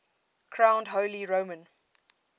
crowned holy roman